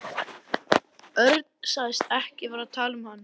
Örn sagðist ekki vera að tala um hann.